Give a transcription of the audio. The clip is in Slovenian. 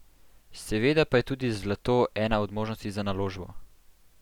Seveda pa je tudi zlato ena od možnosti za naložbo.